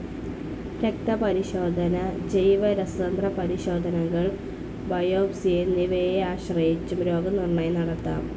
രക്തപരിശോധന, ജൈവരസതന്ത്രപരിശോധനകൾ, ബയോപ്സി എന്നിവയെ ആശ്രയിച്ചും രോഗനിർണ്ണയം നടത്താം.